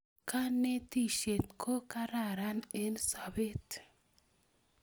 Kanetishet ko kararan eng sobet